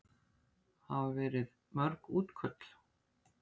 Hafa verið mörg útköll?